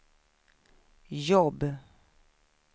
jobb